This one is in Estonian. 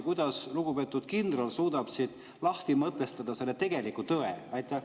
Kuidas lugupeetud kindral suudab lahti mõtestada selle tegeliku tõe?